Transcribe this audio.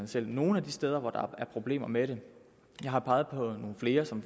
selv nogle af de steder hvor der er problemer med det jeg har peget på nogle flere som